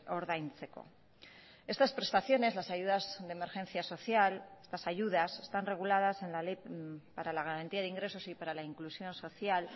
ordaintzeko estas prestaciones las ayudas de emergencia social estas ayudas están reguladas en la ley para la garantía de ingresos y para la inclusión social